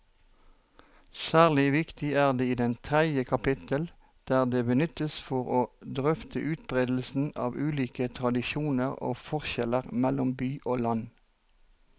Særlig viktig er det i tredje kapittel, der det benyttes for å drøfte utbredelsen av ulike tradisjoner og forskjeller mellom by og land.